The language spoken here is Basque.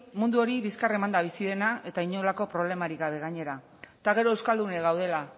mundu hori bizkar emanda bizi dena eta inolako problemarik gainera eta gero euskaldunok gaudela